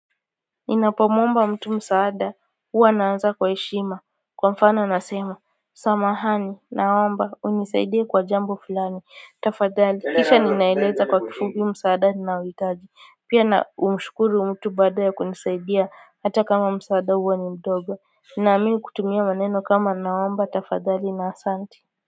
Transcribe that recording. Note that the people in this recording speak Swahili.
Ninapomwomba mtu msaada, huwa naanza kwa heshima, kwa mfano nasema, samahani, naomba, unisaidie kwa jambo fulani, tafadhali, kisha ninaeleza kwa kifupi msaada ninaohitaji, pia na humshukuru mtu baada ya kunisaidia, hata kama msaada huwa ni ndogo, naamini kutumia neno kama naomba, tafadhali na asante.